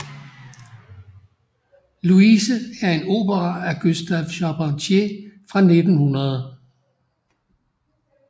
Louise er en opera af Gustave Charpentier fra 1900